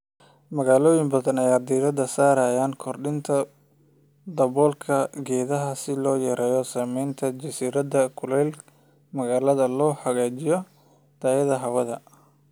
Magaalooyin badan ayaa diiradda saaraya kordhinta daboolka geedaha si loo yareeyo saameynta jasiiradda kulaylka magaalada oo loo hagaajiyo tayada hawada.